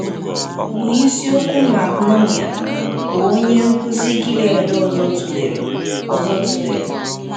bụ isiokwu Mark Noumair, bụ́ onye nkụzi Gilead ọzọ tụlere. ọzọ tụlere.